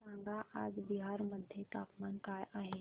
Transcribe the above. सांगा आज बिहार मध्ये तापमान काय आहे